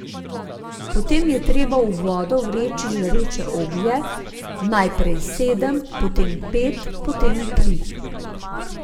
Potem je treba v vodo vreči žareče oglje, najprej sedem, potem pet, potem tri.